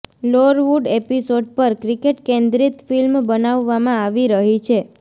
લોરવુડ episode પર cricket કેન્દ્રિત film બનાવવામાં આવી રહી છે